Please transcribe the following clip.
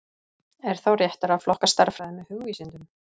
Er þá réttara að flokka stærðfræði með hugvísindum?